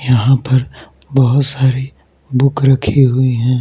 यहां पर बहुत सारी बुक रखी हुई हैं।